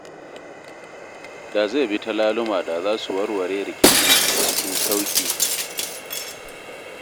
Da zai bi ta laluma da za su warware rikicin cikin sauƙi.